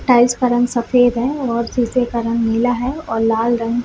tiles का रंग सफेद है और सीसे का रंग नीला है और लाल रंग--